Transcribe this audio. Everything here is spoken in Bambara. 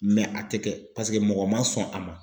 a tɛ kɛ paseke mɔgɔ ma sɔn a ma.